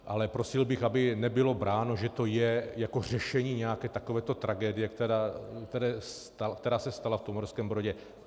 Ale prosil bych, aby nebylo bráno, že to je jako řešení nějaké takovéto tragédie, která se stala v Uherském Brodě.